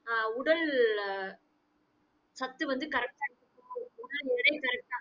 ஆஹ் உடல் சத்து வந்து correct ஆ